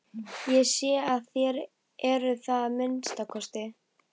Ég sé að þér eruð það að minnsta kosti.